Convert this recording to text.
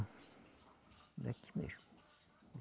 Daqui mesmo.